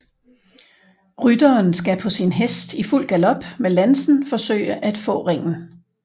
Rytteren skal på sin hest i fuld galop med lansen forsøge at få ringen